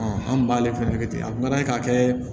an kun b'ale fɛnɛ kɛ ten a kuma ye k'a kɛ